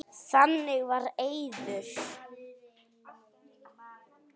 Þannig var Eiður.